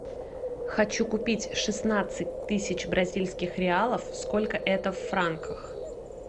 хочу купить шестнадцать тысяч бразильских реалов сколько это в франках